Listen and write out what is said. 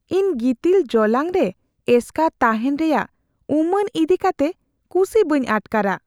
ᱤᱧ ᱜᱤᱛᱤᱞ ᱡᱚᱞᱟᱝ ᱨᱮ ᱮᱥᱠᱟᱨ ᱛᱟᱦᱮᱱ ᱨᱮᱭᱟᱜ ᱩᱢᱟᱹᱱ ᱤᱫᱤᱠᱟᱛᱮ ᱠᱩᱥᱤ ᱵᱟᱹᱧ ᱟᱴᱠᱟᱨᱟ ᱾